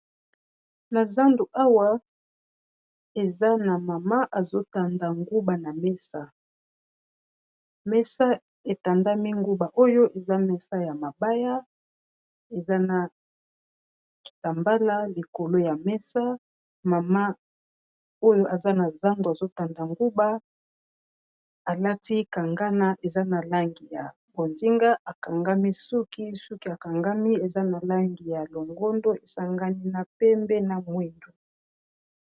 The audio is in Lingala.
Na zandu awa eza na mama azotanda nguba na mesa mesa etandami nguba oyo eza mesa ya mabaya eza na kitambala likolo ya mesa mama oyo eza na zandu azotanda nguba alati kangana eza na langi ya bozinga akangami suki suki akangami eza na langi ya longondo esangani na pembe na mwindu